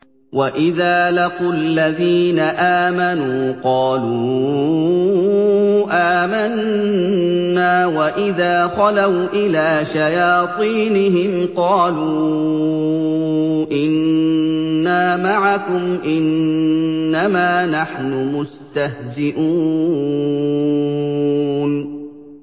وَإِذَا لَقُوا الَّذِينَ آمَنُوا قَالُوا آمَنَّا وَإِذَا خَلَوْا إِلَىٰ شَيَاطِينِهِمْ قَالُوا إِنَّا مَعَكُمْ إِنَّمَا نَحْنُ مُسْتَهْزِئُونَ